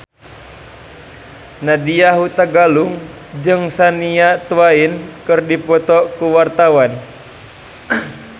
Nadya Hutagalung jeung Shania Twain keur dipoto ku wartawan